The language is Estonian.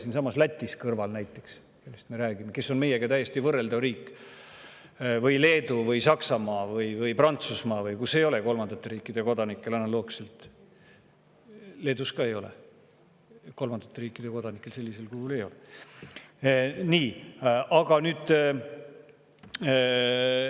Näiteks Lätis, kes on siinsamas kõrval ja meiega täiesti võrreldav riik, või Leedus või Saksamaal või Prantsusmaal ei ole kolmandate riikide kodanikel – Leedus ka ei ole – sellisel kujul.